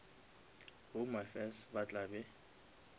home affairs ba tla be